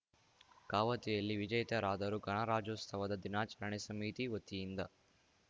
ಕವಾಯತಿನಲ್ಲಿ ವಿಜೇತರಾದವರು ಗಣರಾಜ್ಯೋತ್ಸವ ದಿನಾಚರಣೆ ಸಮಿತಿ ವತಿಯಿಂದ